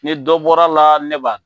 Ni dɔ bɔra la ne ba